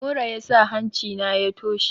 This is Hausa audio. Mura yasa hancina ya toshe.